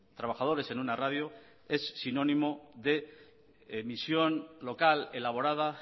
trabajadores en una radio es sinónimo de misión local elaborada